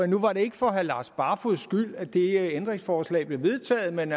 nu var det ikke for herre lars barfoeds skyld at det ændringsforslag blev vedtaget men